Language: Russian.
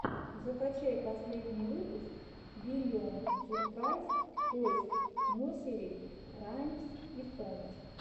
закачай последний выпуск биллион сюрпрайз тойс несери раймс и сонгс